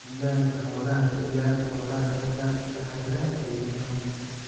Ammaanka Xoolaha Ka ilaali xoolahaaga daadadka la xiriira El Niño.